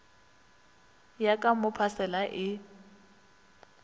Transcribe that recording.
ya ka mo phasela e